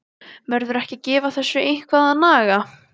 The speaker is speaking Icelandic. Verður ekki að gefa þessu eitthvað að naga?